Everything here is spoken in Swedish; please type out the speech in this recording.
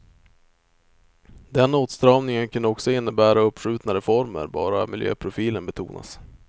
Den åtstramningen kunde också innebära uppskjutna reformer bara miljöprofilen betonas.